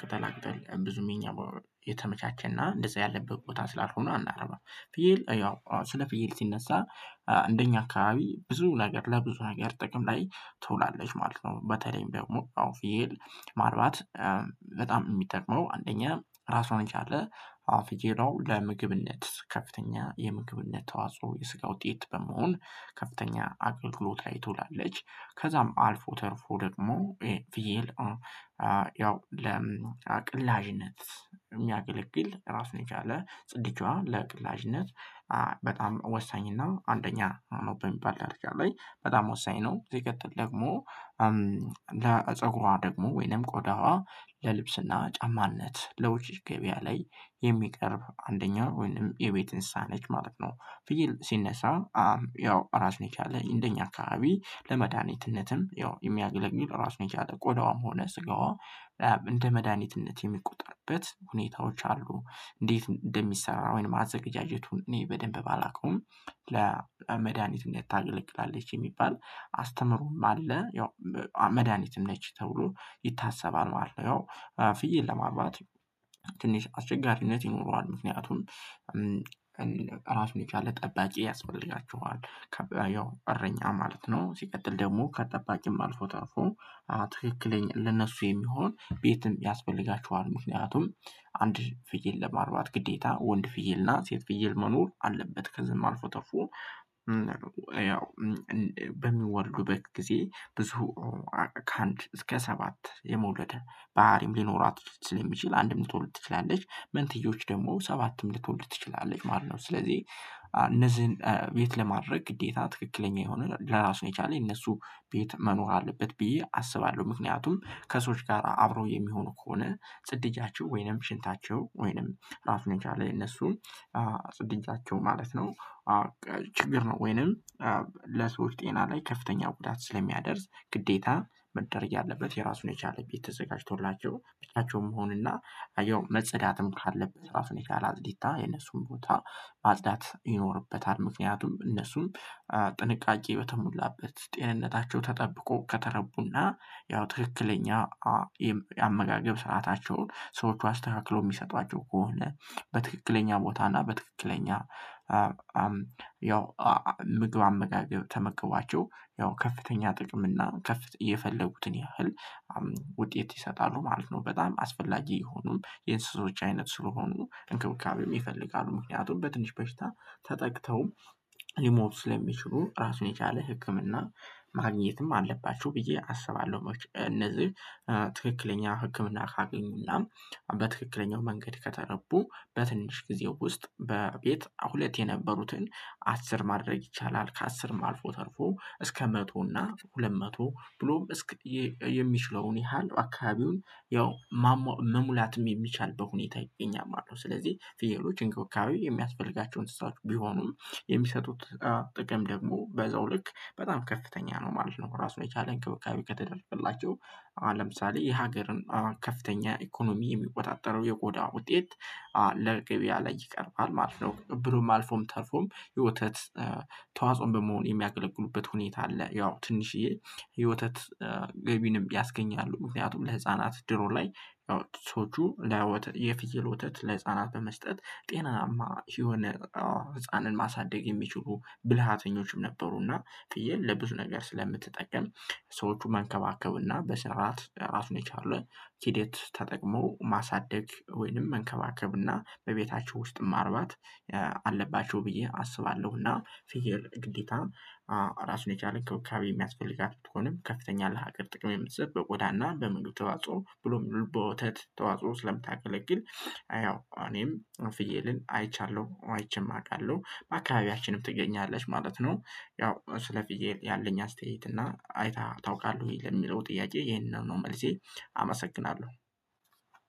ቅጠላ ቅጠል ብዙም የኛ የተመቻቸና እንደዛ ያለበት ቦታ ስላልሆነ አናርባም። ፍየል ያው ስለ ፍየል ሲነሳ እንደኛ አካባቢ ብዙ ነገር ለብዙ ነገር ጥቅም ላይ ትውላለች ማለት ነው። በተለይም አወ ፍየል ማርባት። በጣም የሚጠቅመው አንደኛ ራሷን የቻለ አወ ፍየል አሁን ለምግብነት ከፍተኛ የምግብነት ተዋጽኦ የስጋ ውጤት በመሆን ከፍተኛ አገልግሎት ላይ ትውላለች። ከዛም አልፎ ተርፎ ደግሞ ፍየል። ያው ለአቅላጅነት የሚያገለግል ራሱን የቻለ ጽዳጇ ለአቅላጅነት በጣም ወሳኝ እና አንደኛ ነው በሚባል ደረጃ ላይ በጣም ወሳኝ ነው። ዜጋ ደግሞ። ለፀጉሯ ደግሞ ወይንም ቆዳዋ ለልብስና ጫማነት ለውጭ ገበያ ላይ የሚቀርብ አንደኛው ወይንም የቤት እንስሳ ነች ማለት ነው። ፍይል ሲነሳ ያው ራሱ የቻለ እንደኛ አካባቢ ለመድሃኒትነትም ያው የሚያገለግል ራሱ የቻለ ቆዳዋም ሆነ ስጋዋ። እንደ መድሃኒትነት የሚቆርበት ሁኔታዎች አሉ። እንዴት እንደሚሰራው ወይም አዘገጃጀቱን እኔ በደንብ ባላውቅም። ለመድሃኒት እንዴት ታገለግላለች የሚባል አስተምሮም አለ። ያው መድሃኒትም ነች ተብሎ ይታሰባል ማለት ነው። ፍይል ለማርባት ትንሽ አስቸጋሪነት ይኖረዋል ምክንያቱም። ራሱን የቻለ ጠባቂ ያስፈልጋችኋል። ያው እረኛ ማለት ነው ሲቀጥል ደግሞ ከጠባቂም አልፎ ተርፎ ትክክለኛ ለእነሱ የሚሆን ቤትም ያስፈልጋችኋል። ምክንያቱም አንድ ፍየል ለማርባት ግዴታ ወንድ ፍየል እና ሴት ፍየል መኖር አለበት። ከዛም አልፎ ተርፎ ያው። በሚወልዱበት ጊዜ ብዙ ከአንድ እስከ ሰባት የመውለድ ባህሪም ሊኖራት ስለሚችል አንድም ልትወልድ ትችላለች መንትዮች ደግሞ ሰባትም ልትወልድ ትችላለች ማለት ነው። ስለዚህ እነዚህን የት ለማድረግ ግዴታ ትክክለኛ የሆነ ለራሱ የቻለ እነሱ ቤት መኖር አለበት ብዬ አስባለሁ። ምክንያቱም ከሰዎች ጋር አብረው የሚሆኑ ከሆነ ጽዳጃቸው ወይንም ሽንታቸው ወይንም ራሱን የቻለ የነሱን ጽዳጃቸው ማለት ነው። ችግር ነው ወይንም። ለሰዎች ጤና ላይ ከፍተኛ ጉዳት ስለሚያደርስ ግዴታ መደረግ ያለበት የራሱን የቻለ ቤት ተዘጋጅቶላቸው ብቻቸውን መሆንና ያው መጸዳትም ካለበት ራፍን የቻለ አጽዲታ የነሱን ቦታ ማጽዳት ይኖርበታል። ምክንያቱም እነሱም ጥንቃቄ በተሞላበት ጤንነታቸው ተጠብቆ ከተረቡና። ያው ትክክለኛ አመጋገብ ሰአታቸውን ሰዎች አስተካክሎ የሚሰጧቸው ከሆነ። በትክክለኛ ቦታ እና በትክክለኛ ያው ምግብ አመጋገብ ተመግቧቸው ያው ከፍተኛ ጥቅም እና ክፍት እየፈለጉትን ያህል። ውጤት ይሰጣሉ ማለት ነው። በጣም አስፈላጊ የሆኑም የእንስሶች አይነት ስለሆኑ እንክብካቤ ይፈልጋሉ ምክንያቱም በትንሽ በሽታ። ተጠቅተው ሊሞቱ ስለሚችሉ ራሱን የቻለ ህክምና። ማግኘትም አለባቸው ብዬ አስባለሁ። እነዚህ ትክክለኛ ህክምና ካገኙና በትክክለኛው መንገድ ከተረቡ በትንሽ ጊዜው ውስጥ በቤት ሁለት የነበሩትን አስር ማድረግ ይቻላል። ከአስርም አልፎ ተርፎ እስከ መቶ እና ሁለት መቶ ብሎም እስክ። የሚችለውን ያህል አካባቢውን ያው መሙላትም የሚቻል በሁኔታ ይገኛል ማለት ነው። ስለዚህ ፍየሎች እንክብካቤ የሚያስፈልጋቸው እንስሳት ቢሆኑም። የሚሰጡት ጥቅም ደግሞ በዛው ልክ በጣም ከፍተኛ ነው ማለት ነው። ራሱ የቻለ እንክብካቤ ከተደረገላቸው። ለምሳሌ የሀገርን ከፍተኛ ኢኮኖሚ የሚቆጣጠረው የቆዳ ውጤት ለገቢያ ላይ ይቀርባል ማለት ነው። ብሎም አልፎም ተርፎም የወተት ተዋጽኦም በመሆን የሚያገለግሉበት ሁኔታ አለ። ያው ትንሽዬ የወተት ገቢንም ያስገኛሉ። ምክንያቱም ለህፃናት ድሮ ላይ ሰዎቹ ለወተት የፍየል ወተት ለህፃናት በመስጠት ጤናማ የሆነ ህፃንን ማሳደግ የሚችሉ ብልሃተኞችም ነበሩና። ፍዬል ለብዙ ነገር ስለምትጠቀም። ሰዎቹም መንከባከቡና በስርዓት ራሱን የቻሉ ሂደት ተጠቅሞ ማሳደግ ወይንም መንከባከብ እና በቤታቸው ውስጥም አርባት አለባቸው። ብዬ አስባለሁና። ፍየል ግዴታ ራሱን የቻለኝ እንክብካቤ የሚያስፈልጋት ቢሆንም ከፍተኛ ለሀገር ጥቅም የምትሰጥ በቆዳና በምግብ ተዋጽኦ ብሎም በወተት ተዋጽኦ ስለምታገለግል። ያው እኔም ፍየልን አይቻለሁ አይቼም አውቃለሁ በአካባቢያችንም ትገኛለች ማለት ነው። ያው ስለፊ ፍየል ያለኝ አስተያየት እና አይተህ ታውቃለህ ወይ? ለሚለው ጥያቄ ይሄንን ነው መልሴ። አመሰግናለሁ።